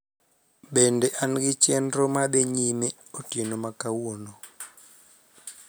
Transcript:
bede an gi chenro madhi nyime otieno ma kawuono